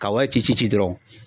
Ka wari ci ci ci dɔrɔn.